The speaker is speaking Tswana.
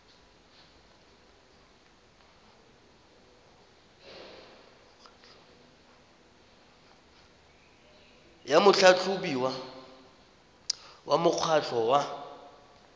ya motlhatlhobiwa wa mokgatlho wa